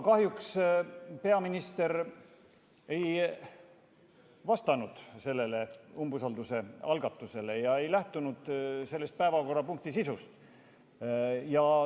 Kahjuks peaminister ei vastanud sellele umbusaldusavaldusele ja ei lähtunud selle päevakorrapunkti sisust.